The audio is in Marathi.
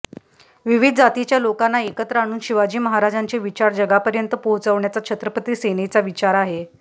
विविध जातीच्या लोकांना एकत्र आणून शिवाजी महाराजांचे विचार जगापर्यंत पोहचवण्याचा छत्रपती सेनेचा विचार आहे